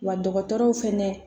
Wa dɔgɔtɔrɔw fɛnɛ